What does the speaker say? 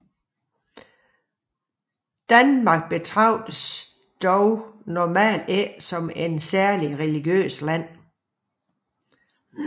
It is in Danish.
Danmark betragtes dog normalt ikke som et særlig religiøst land